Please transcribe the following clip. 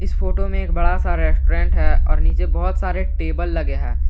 Photo में एक बड़ा सा रेस्टोरेंट है और नीचे बहोत सारे टेबल लगे हैं।